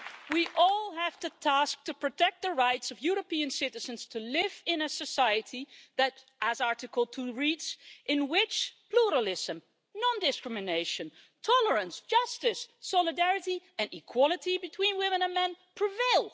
We all have the task of protecting the rights of European citizens to live today in a society, as Article 2 reads, in which pluralism, non-discrimination, tolerance, justice, solidarity and equality between women and men prevail'.